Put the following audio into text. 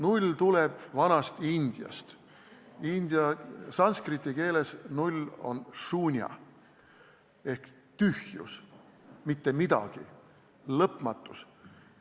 Null tuleb vanast Indiast, sanskriti keeles on "null" sunya ehk tühjus, mitte midagi, lõpmatus.